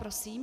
Prosím.